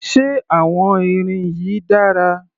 Ṣé àwọn irin yìí dára?